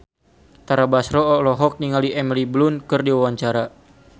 Tara Basro olohok ningali Emily Blunt keur diwawancara